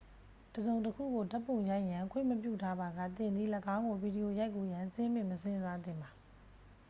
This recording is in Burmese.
တစ်စုံတစ်ခုကိုဓာတ်ပုံရိုက်ရန်ခွင့်မပြုထားပါက သင်သည် ၎င်းကို ဗီဒီယိုရိုက်ကူးရန် စဉ်းပင်မစဉ်းစားသင့်ပါ